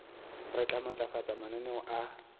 re tla matlafatsa mananeo a